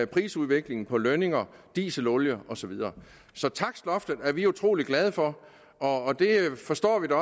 prisudviklingen på lønninger dieselolie og så videre så takstloftet er vi utrolig glade for og det forstår vi at